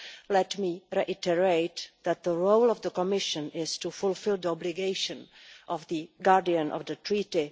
Let me reiterate that the role of the Commission is to fulfil the obligation of the guardian of the Treaty.